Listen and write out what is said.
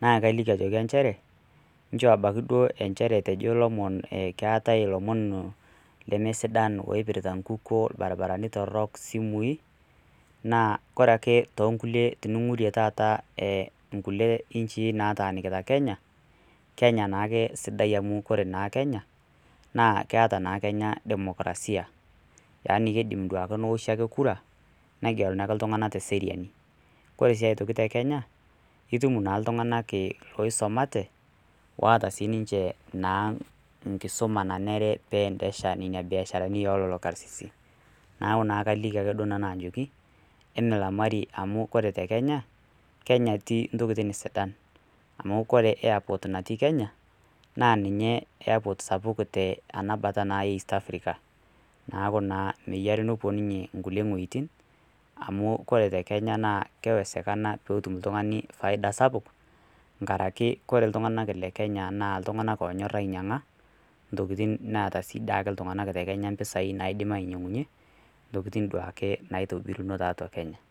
naa kalikii ajokii encheree nchoo abakii duo encheree etejoo lomon keatai lomon lemeisidan oipiritaa nkukoo eee lbarbaranii torok simui naa kore akee tooh nkulie tiningurie taata eee nkulie inshii nataanikitaa kenyaa naa kenya naake sidai amu kore naa kenya keataa naa kenya demokrasia. yani keidim naake taata nooshi kura negelinuu akee ltunganaa te sereanii, kore sii aitokii te kenyaa naa itum naa ltunganak loisomatee loataa sii ninshee nkisomaa naneree peendesha mbiasharanii ee lolo karsisii. Naaku naa kalikii akee duo nanuu ajokii emilamarii amuu kore te kenyaa , kenya etii ntokitin sidan, amu kore airport natii kenyaa naa ninyee airport sapuk tenabataa naa east Africa. Naaku naa meyerii nupuo ninyee nkulie nghojitin amu kore te kenyaa naa kewezekana peetum ltunganii faidaa sapuk angarakee kore ltunganak le kenyaa naa ltunganak lonyor ainyengaa ntokitin neataa sii daake ltunganak te kenyaa mpisai naidim ainyengunyee ntokitin duake naitobirinoo taatua kenyaa